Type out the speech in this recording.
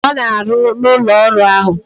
Ọ na-arụ n'arụ n'ụlọ ọrụ ahụ.